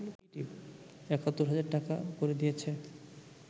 ৭১ হাজার টাকা করে দিয়েছে